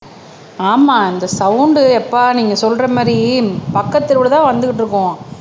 ஆமா இந்த சவுண்டு யப்பா நீங்க சொல்ற மாதிரி பக்கத்து தெருவுல தான் வந்துகிட்டு இருக்கும்